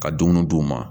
Ka dumuni d'u ma